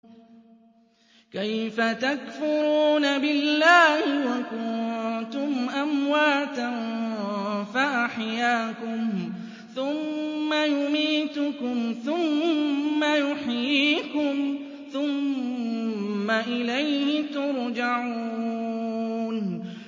كَيْفَ تَكْفُرُونَ بِاللَّهِ وَكُنتُمْ أَمْوَاتًا فَأَحْيَاكُمْ ۖ ثُمَّ يُمِيتُكُمْ ثُمَّ يُحْيِيكُمْ ثُمَّ إِلَيْهِ تُرْجَعُونَ